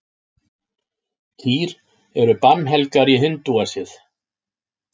Kýr eru bannhelgar í hindúasið.